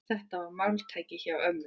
Þetta var máltæki hjá ömmu.